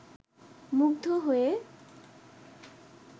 মুগ্ধ হয়ে